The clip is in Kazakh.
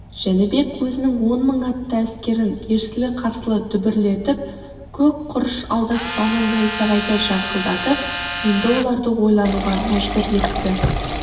жәнібек өзінің он мың атты әскерін ерсілі-қарсылы дүбірлетіп көк құрыш алдаспанын найзағайдай жарқылдатып енді оларды ойлануға мәжбүр етті